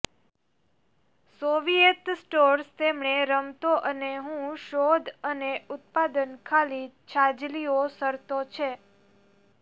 Soviet stores તેમણે રમતો અને હું શોધ અને ઉત્પાદન ખાલી છાજલીઓ શરતો છે